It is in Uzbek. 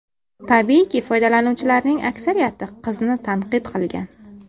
Tabiiyki, foydalanuvchilarning aksariyati qizni tanqid qilgan.